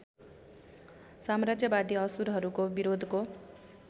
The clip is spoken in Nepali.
साम्राज्यवादी असुरहरूको विरोधको